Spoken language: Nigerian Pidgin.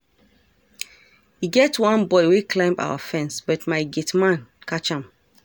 E get one boy wey climb our fence but my gate man catch am